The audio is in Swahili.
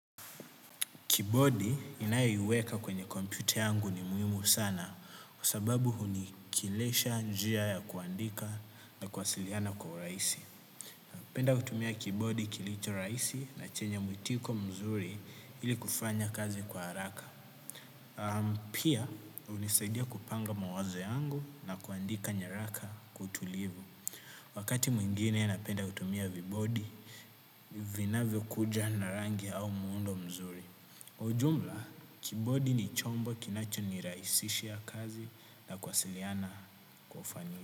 Kibodi ninayoiweka kwenye kompyuta yangu ni muhimu sana, kwa sababu huni kilesha njia ya kuandika na kuwasiliana kwa uraisi. Napenda kutumia kibodi kilicho rahisi na chenye muitiko mzuri ili kufanya kazi kwa haraka. Pia, unisaidia kupanga mawazo yangu na kuandika nyaraka kwa utulivu. Wakati mwingine napenda kutumia vibodi, vinavyo kuja na rangi au muundo mzuri. Ujumla, kibodi ni chombo kinacho ni raisishia kazi na kuwasiliana kwa ufanisi.